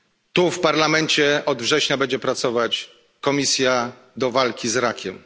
Tu w Parlamencie od września będzie pracować komisja do walki z rakiem.